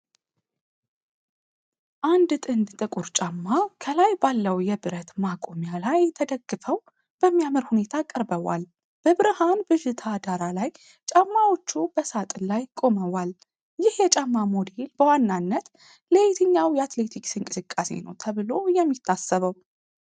አንድ ጥንድ ጥቁር ጫማ ከላይ ባለው የብረት መቆሚያ ላይ ተደግፈው በሚያምር ሁኔታ ቀርበዋል። በብርሃን ብዥታ ዳራ ላይ፣ ጫማዎቹ በሳጥን ላይ ቆመዋል። ይህ የጫማ ሞዴል በዋናነት ለየትኛው የአትሌቲክስ እንቅስቃሴ ነው ተብሎ የሚታሰበው?